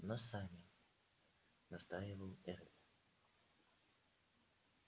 но сами настаивал эрби